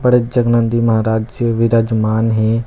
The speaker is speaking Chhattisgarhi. पारथजगनंदी महराज जी विरजमान मान है ।.